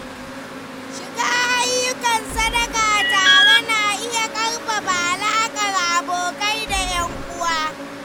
Shiga ayyukan sadaka tare na iya ƙarfafa alakar abokai da ƴan uwa.